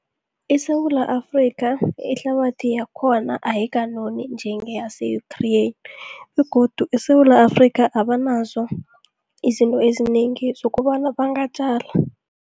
ISewula Afrika, ihlabathi yakhona ayikanoni njengeyase-Ukraine. Begodu eSewula Afrika, abanazo izinto ezinengi zokobana bangatjala.